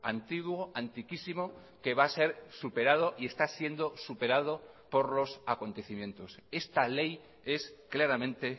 antiguo antiquísimo que va a ser superado y está siendo superado por los acontecimientos esta ley es claramente